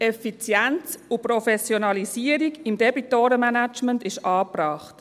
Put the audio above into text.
Effizienz und Professionalisierung im Debitorenmanagement ist angebracht.